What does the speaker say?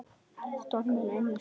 Stormar inn í stofu.